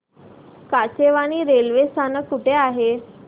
Kachewani railway स्थानक कुठे आहे